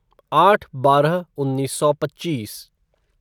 आठ बारह उन्नीस सौ पच्चीस